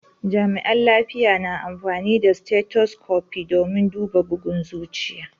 Jami'an lafiya na amfani da stethoscope domin duba bugun zuciya.